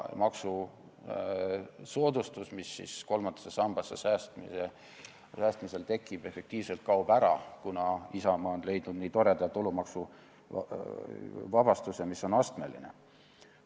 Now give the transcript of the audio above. Maksusoodustus, mis kolmandasse sambasse raha paigutamisel tekib, kaob ära, kuna Isamaa on leidnud nii toreda tulumaksuvabastuse, mis on astmeline.